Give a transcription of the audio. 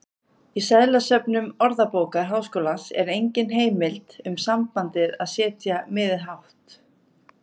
Í seðlasöfnum Orðabókar Háskólans er engin heimild um sambandið að setja miðið hátt.